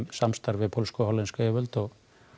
samstarfi með pólskum og hollenskum yfirvöldum og